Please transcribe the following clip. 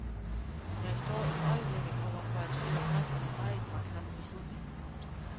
Jeg står i øjeblikket over for at skulle træffe en meget markant beslutning. punktum